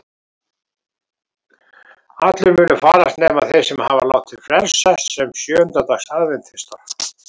Allir munu farast nema þeir sem hafa látið frelsast sem sjöunda dags aðventistar.